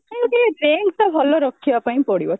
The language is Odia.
ପାଇଁ ବି rank ତ ଭଲ ରଖିବା ପାଇଁ ପଡିବ